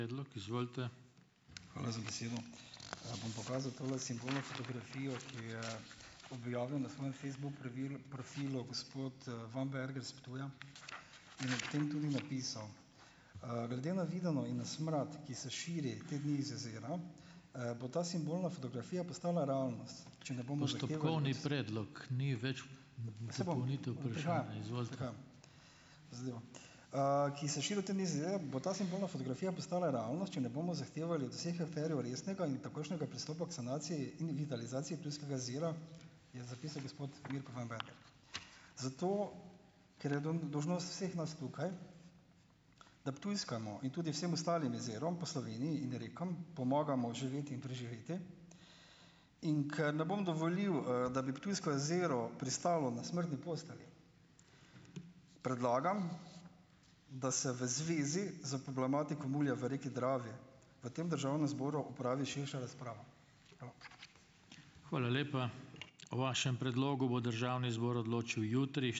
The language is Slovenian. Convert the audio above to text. Hvala za besedo. Bom pokazal tole simbolno fotografijo, ki jo je objavil na svojem Facebook pravilu, profilu gospod, Vamberger s Ptuja in ob tem tudi napisal, "Glede na videno in na smrad, ki se širi te dni iz jezera, bo ta simbolna fotografija postala realnost, ki se širi te dni z jezera, bo ta simbolna fotografija postala realnost, če ne bomo zahtevali od vseh akterjev resnega in takojšnjega pristopa k sanaciji in vitalizaciji Ptujskega jezera, je zapisal gospod Mirko Vamberger. Zato ker je dolžnost vseh nas tukaj, da Ptujskemu in tudi vsem ostalim jezerom po Sloveniji in rekam pomagamo oživeti in preživeti, in ker ne bom dovolil, da bi Ptujsko jezero pristalo na smrtni postelji, predlagam, da se v zvezi s problematiko mulja v reki Dravi v tem državnem zboru opravi širša razprava.